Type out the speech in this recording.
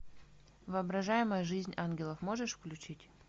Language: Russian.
воображаемая жизнь ангелов можешь включить